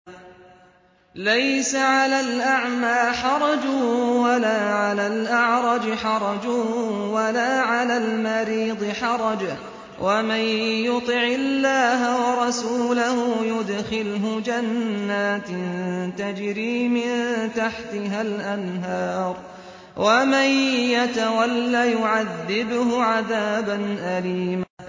لَّيْسَ عَلَى الْأَعْمَىٰ حَرَجٌ وَلَا عَلَى الْأَعْرَجِ حَرَجٌ وَلَا عَلَى الْمَرِيضِ حَرَجٌ ۗ وَمَن يُطِعِ اللَّهَ وَرَسُولَهُ يُدْخِلْهُ جَنَّاتٍ تَجْرِي مِن تَحْتِهَا الْأَنْهَارُ ۖ وَمَن يَتَوَلَّ يُعَذِّبْهُ عَذَابًا أَلِيمًا